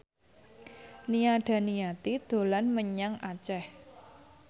Nia Daniati dolan menyang Aceh